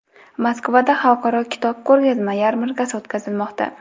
Moskvada Xalqaro kitob ko‘rgazma yarmarkasi o‘tkazilmoqda.